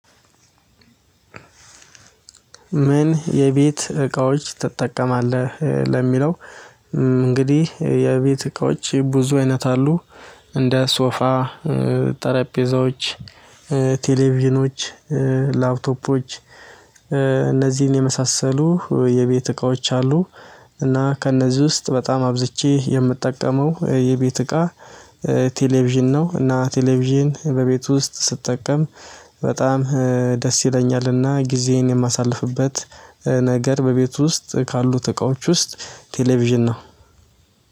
ምን የቤት እቃዎች ትጠቀማለህ ለሚለው? እንግዲህ የቤት እቃዎች ብዙ አይነት አሉ። እንደ ሶፋ ጠረጴዛዎች ቴሌቪዥኖች ላፕቶፖች እነዚህን የመሳሰሉ የቤት እቃዎች አሉ። እና ከእነዚህ ውስጥ በጣም አብዝቼ የምጠቀመው የቤት እቃ ቴሌቪዥን ነው። እና ቴሌቪዥን በቤቱ ውስጥ ስጠቀም በጣም ደስ ይለኛልና ጊዜዬን የማሳልፍበት ነገር በቤቱ ውስጥ ካሉት እቃዎች ውስጥ ቴሌቪዥን ነው።